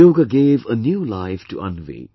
Yoga gave a new life to Anvi